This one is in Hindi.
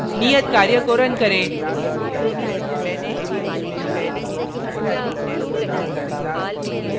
नियत कार्य को रन करें